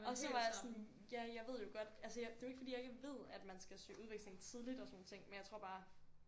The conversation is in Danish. Og så var jeg sådan ja jeg ved jo godt altså jeg det er jo ikke fordi jeg ikke ved at man skal søge udveksling tidligt og sådan nogle ting men jeg tror bare